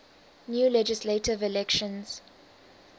new legislative elections